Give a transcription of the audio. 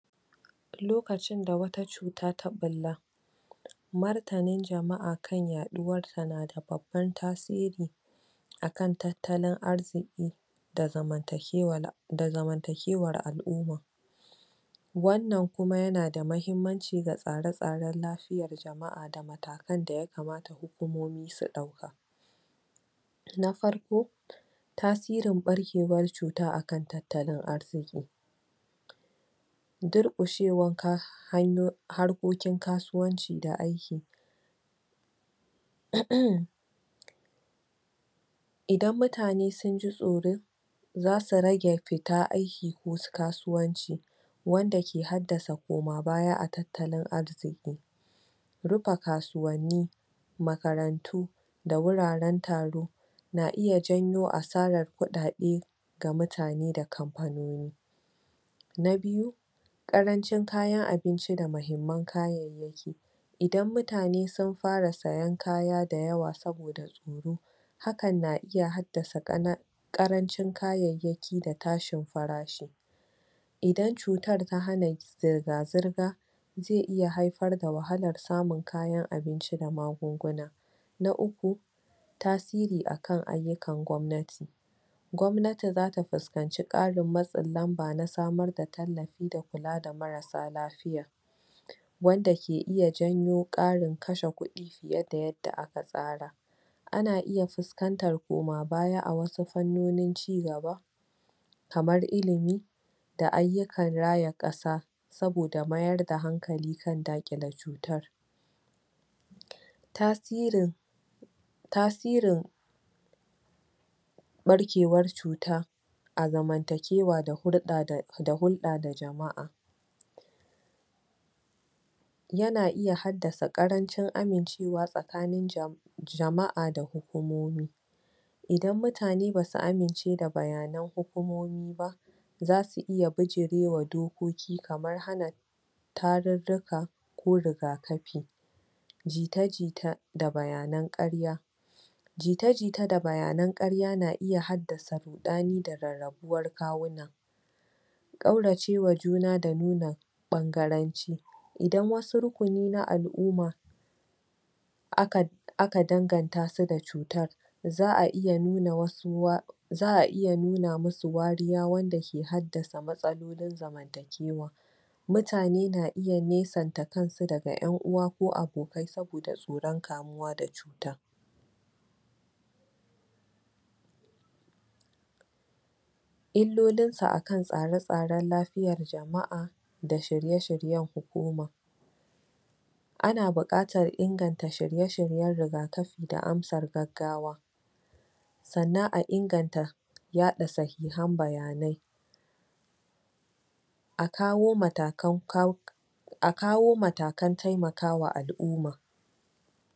Lokacin da wata cuta ta ɓulla martanin jama'a kan yaduwarta na da babban tasiri akan tattalin arziki da zamantakewar al'umma wannan kuma yana da muhimmanci ga tsare-tsaren lafiyar jama'a da matakan da ya kamata hukomomi su ɗauka na farko tasirin ɓarkewar cuta akan tattalin arziƙi duƙushewan ka... harkokin kasuwanci da aiki emem idan mutane sun ji tsoro za su rage fita aiki ko kasuwanci wanda ke haddasa koma-baya a tattalin arziƙi rufa kasuwanni makarantu da wuraren taro na iya janyo asarar kuɗaɗe ga mutane da kamfanoni na biyu ƙarancin kayan abinci da mahimman kayan idan mutane sun fara sayan kaya dayawa saboda idan mutane sun fara sayan kaya dayawa saboda tsoro hakan na iya haddasa.... ƙarancin kayayyaki da tashin farashi idan cutar ta hana zirga-zirga zai iya haifar da wahalar samun kayan abinci da magunguna na uku tasiri akan ayyukan gwamnati gwamnati za ta fuskanci ƙarin matsin lamba na samar da tallafi da kula da marasa lafiya wanda ke iya janyo ƙarin kashe kuɗi fiye da yadda aka tsara ana iya fuskantar koma-baya a wasu fannonin cigaba kamar ilimi da ayyukan raya ƙasa saboda mayar da hankali kan daƙile cutar tasirin tasirin ɓarkewar cuta a zamantakewa da hulɗa da jama'a yana iya haddasa ƙarancin amincewa tsakanin ja... jama'a da hukomomi idan mutane ba su amince da bayanan hukumomi ba za su iya bijirewa dokoki kamar hana tarurruka ko riga-kafi jita-jita da bayanan ƙarya jita-jita da bayanan ƙarya na iya haddasa ruɗani da rarrabuwar kawuna ƙauracewa juna da nuna ɓangaranci idan wasu rukuni na al'umma a ka a ka danganta su da cutar za a iya nuna wasu wa... za a iya nuna musu wariya wanda ke haddasa matsalolin zamantakewa mutane na iya nesanta kansu daga ƴan uwa ko abokai saboda tsoron kamuwa da i ta illolinsa akan tsare-tsaren lafiyar jama'a da shirye-shiryen hukuma ana buƙatar inganta shirye-shiryen rigakafi da amsar gaggawa sannan a inganta yaɗa sahihan bayanai a kawo matakan.....